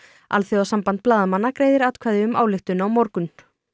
alþjóðasamband blaðamanna greiðir atkvæði um ályktun á morgun